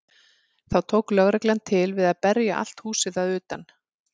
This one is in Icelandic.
Þá tók lögreglan til við að berja allt húsið að utan.